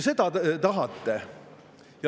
Seda te tahate.